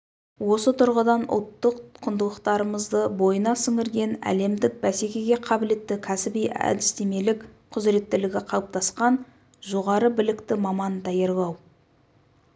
осы тұрғыдан ұлттық құндылықтарымызды бойына сіңірген әлемдік бәсекеге қабілетті кәсіби-әдістемелік құзыреттілігі қалыптасқан жоғары білікті маман даярлау